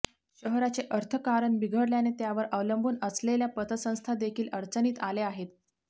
शहराचे अर्थकारण बिघडल्याने त्यावर अवलंबून असलेल्या पतसंस्था देखील अडचणीत आल्या आहेत